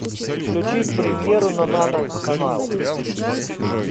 включить премьеру на нано канал